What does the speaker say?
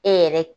E yɛrɛ